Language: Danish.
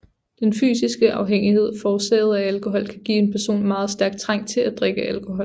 Den fysiske afhængighed forårsaget af alkohol kan give en person en meget stærk trang til at drikke alkohol